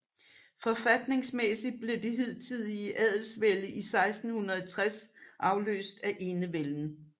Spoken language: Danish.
Forfatningsmæssigt blev det hidtidige adelsvælde i 1660 afløst af enevælden